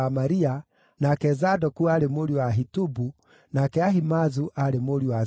nake Zadoku aarĩ mũriũ wa Ahitubu, nake Ahimaazu aarĩ mũriũ wa Zadoku.